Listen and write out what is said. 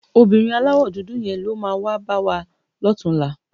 Óbìrín àláwò dúdú yén ló má wá bàwá lòtúnlá